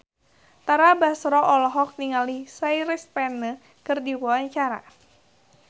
Tara Basro olohok ningali Chris Pane keur diwawancara